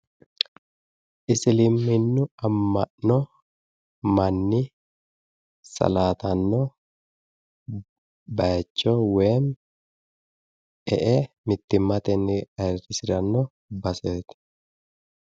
Isiliminu amma'no manni salaatanno baayiicho woyi e'e mittimmatenni aayiirrisiranno baseeti.